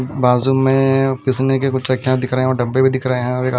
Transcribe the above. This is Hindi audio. बाजू में पिसने के कुछ चकियाँ दिख रहे है कुछ डब्बे भी दिख रहे है और--